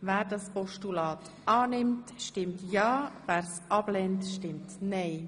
Wer dieses Postulat annimmt, stimmt ja, wer es ablehnt, stimmt nein.